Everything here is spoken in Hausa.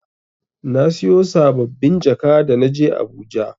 Na siyo saɓɓabin jaka da na je Abuja.